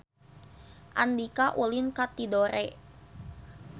Andika ulin ka Tidore